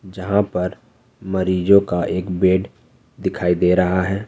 जहां पर मरीजों का एक बेड दिखाई दे रहा है।